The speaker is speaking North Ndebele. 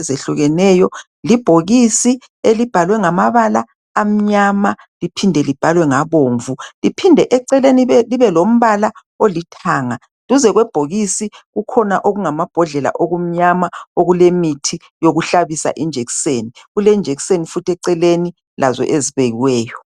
ezihlukeneyo libhokisi elibhalwe ngamabala amnyama liphende lobhalwe ngabomvu liphinde eceleni libe lombala olithanga duze kwebhokisi kukhona amabhodlela okumnyama okulemithi yokuhlabisa ijekiseni kulejekiseni futhi eceleni lazo ezibekiweyo.